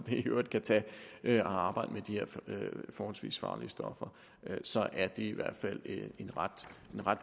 i øvrigt kan tage at arbejde med de her forholdsvis farlige stoffer så er det i hvert fald en ret